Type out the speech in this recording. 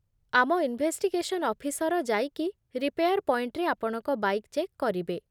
ଆମ investigation officer ଯାଇକି repair ପଏଣ୍ଟରେ ଆପଣଙ୍କ ବାଇକ୍ ଚେକ୍ କରିବେ ।